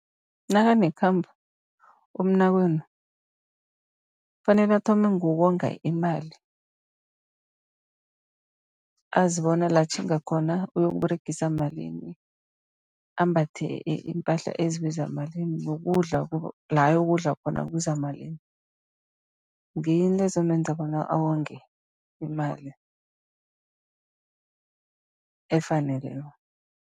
Nakanekhambo umnakwenu fanele athome ngokonga imali, azi bona la atjhinga khona uyokuberegisa malini, ambathe iimpahla ezibiza malini nokudla la ayokudla khona kubiza malini. Ngiyo into ezomenza bona onge imali efaneleko.